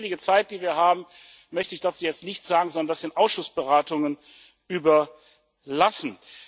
Mit Blick auf die wenige Zeit, die wir haben, möchte ich dazu jetzt nichts sagen, sondern das den Ausschussberatungen überlassen.